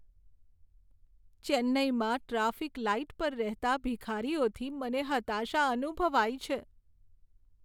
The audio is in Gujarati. ચેન્નાઈમાં ટ્રાફિક લાઈટ પર રહેતા ભિખારીઓથી મને હતાશા અનુભવાય છે.